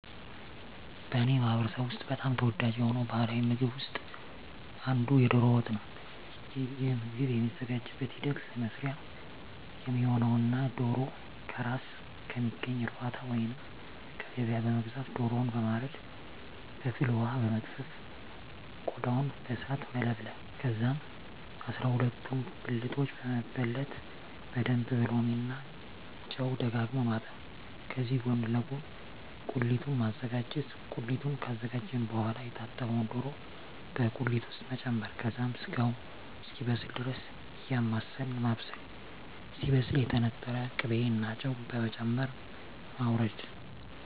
በእኔ ማህበረሰብ ውስጥ በጣም ተወዳጅ የሆነው ባሀላዊ ምግብ ውስጥ አንዱ የዶሮ ወጥ ነው። ይህ ምግብ የሚዘጋጅበት ሂደት ለመስሪያ የሚሆነውነ ዶሮ ከእራስ ከሚገኝ እርባታ ወይንም ከገበያ በመግዛት ዶሮውን በማረድ በፍል ወሀ በመግፈፍ ቆዳውን በእሳት መለብለብ ከዛም አስራሁለቱን ብልቶች በመበለት በደንብ በሎሚ እና ጨው ደጋግሞ ማጠብ ከዚህ ጎን ለጎን ቁሊቱን ማዘጋጀት ቁሊቱን ካዘጋጀን በሆዋላ የታጠበውን ዶሮ በቁሊት ውስጥ መጨመር ከዛም ስጋው እስኪበስል ድረስ እያማሰልን ማብሰል ሲበስል የተነጠረ ቅቤ እና ጨው በመጨመር ማወረድ።